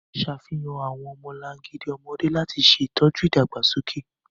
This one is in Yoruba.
Ṣafihan awọn ọmọlangidi ọmọde lati ṣe itọju idagbasoke.